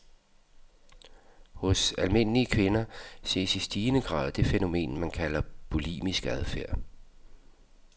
Hos almindelige kvinder ses i stigende grad det fænomen, man kalder bulimisk adfærd.